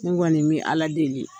N kɔni bɛ Ala deli.